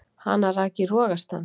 Hana rak í rogastans.